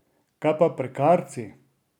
Kaj pa prekarci?